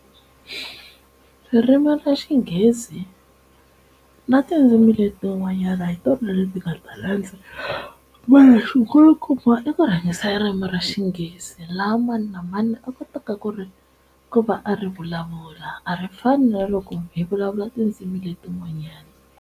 Ririmi ra Xinghezi na tindzimi letin'wanyana hi tona leti nga ta landza i ku ririmi ra Xingezi laha mani na mani a kotaka ku ri ku va a ri vulavula a ri fani na loko hi vulavula tindzimi letin'wanyana.